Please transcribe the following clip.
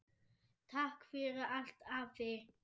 Takk fyrir allt, afi.